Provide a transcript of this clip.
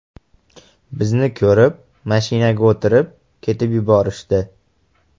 Bizni ko‘rib, mashinaga o‘tirib, ketib yuborishdi.